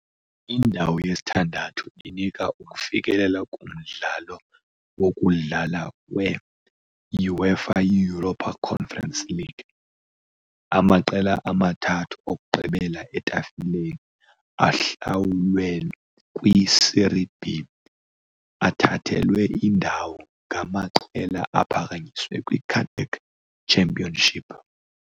Indawo yesithandathu inika ukufikelela kumdlalo "wokudlala we" -UEFA Europa Conference League . Amaqela amathathu okugqibela etafileni ahlawulwe kwi -Serie B, athathelwe indawo ngamaqela aphakanyiswe kwi-cadet Championship.